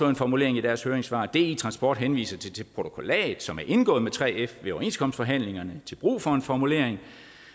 en formulering i deres høringssvar di transport henviser til det protokollat som er indgået med 3f ved overenskomstforhandlingerne til brug for en formulering